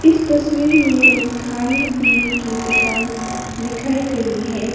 इस तस्वीर में एक खाने पीने की दुकान दिखाई गई है।